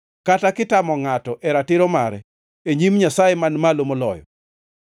kata kitamo ngʼato e ratiro mare e nyim Nyasaye Man Malo Moloyo,